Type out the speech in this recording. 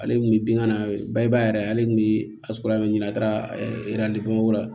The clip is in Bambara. Ale kun bɛ bingani na bayaa yɛrɛ ale tun bɛ ɲini a taara la